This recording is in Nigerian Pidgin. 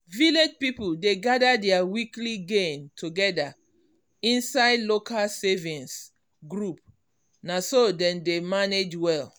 village people dey gather their weekly gain together inside local savings group na so dem dey manage well.